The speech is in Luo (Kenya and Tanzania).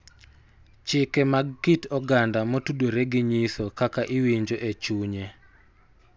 Chike mag kit oganda motudore gi nyiso kaka iwinjo e chunye